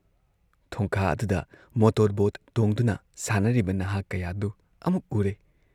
ꯊꯣꯡꯈꯥ ꯑꯗꯨꯗ ꯃꯣꯇꯣꯔꯕꯣꯠ ꯇꯣꯡꯗꯨꯅ ꯁꯥꯟꯅꯔꯤꯕ ꯅꯍꯥ ꯀꯌꯥꯗꯨ ꯑꯃꯨꯛ ꯎꯔꯦ